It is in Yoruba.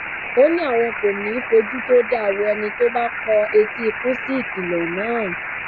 ó ní àwọn kò ní í fojú tó dáa wo ẹni tó bá kọ etí ikún sí ìkìlọ náà